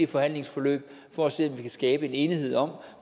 forhandlingsforløb for at se om vi kan skabe en enighed om